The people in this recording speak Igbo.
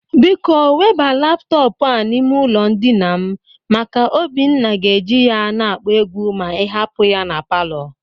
Biko weba laptọpụ a n'ime ụlọ ndịna m maka Obinna ga-eje ya na-akpọ egwu ma ị hapụ ya na palọ.